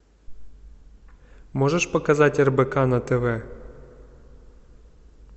можешь показать рбк на тв